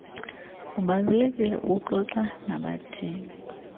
kubalulekile ukuxoxa nabathengi